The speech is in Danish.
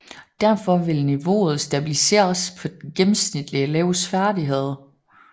Derfor vil niveauet stabiliseres på den gennemsnitlige elevs færdighed